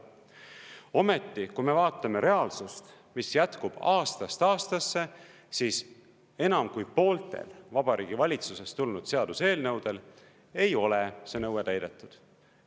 Ometi, kui me vaatame reaalsust, mis jätkub aastast aastasse, siis enam kui pooltel Vabariigi Valitsusest tulnud seaduseelnõudel ei ole see nõue täidetud.